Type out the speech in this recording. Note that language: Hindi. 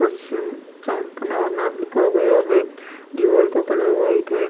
उस लिखा गया है दीवाल का कलर व्हाइट है।